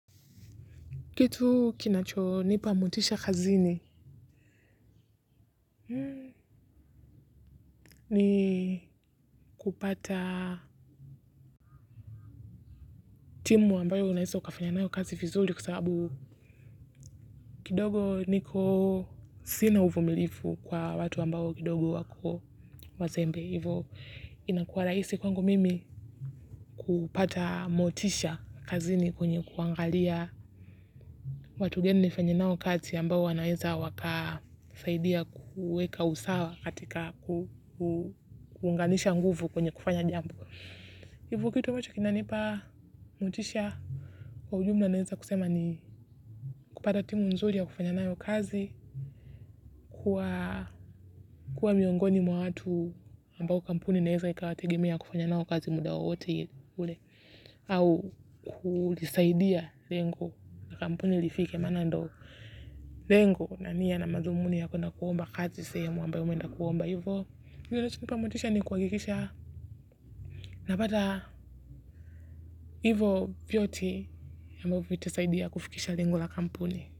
Kitu kinachonipa motisha kazini ni kupata timu ambayo unweza ukafanya nayo kazi vizuri kwa sababu kidogo niko sina uvumilivu kwa watu ambao kidogo wako wazembe. Ivo inakuwa rahisi kwangu mimi kupata motisha kazini kwenye kuangalia watu gani nifanye nao kazi ambao wanaweza wakasaidia kuweka usawa katika kuunganisha nguvu kwenye kufanya jambo. Ivo kitu ambacho kinanipa motisha kwa ujumla naweza kusema ni kupata timu nzuri ya kufanya nayo kazi kuwa miongoni mwa watu ambao kampuni inaweza ikawategemea kufanya nao kazi muda wowote ule. Au kulisaidia lengo la kampuni lifike, maana ndo lengo na nia na madhumuni yakwenda kuomba kazi sehemu ambayo umeenda kuomba hivyo kingine kinachonipa motisha ni kuhakikisha napata hivyo vyote ambavyo vitasaidia kufikisha lengo la kampuni.